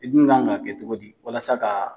I dun kan ka kɛ cogo di walasa ka